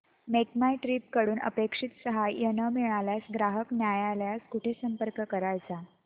make my trip कडून अपेक्षित सहाय्य न मिळाल्यास ग्राहक न्यायालयास कुठे संपर्क करायचा